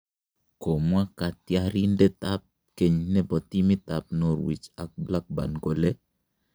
Komwa katyarindet ab keny nebo timit ab norwich ak blackburn kole